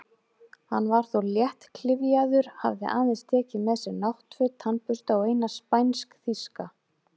Hann var þó léttklyfjaður, hafði aðeins tekið með sér náttföt, tannbursta og eina spænsk-þýska